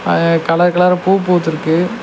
அ colour கலரா பூ பூத்திருக்கு.